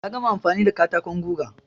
Ya gama amfani da katakon guga.